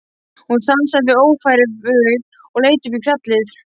Hún stansaði við Ófærugil og leit upp í fjallið.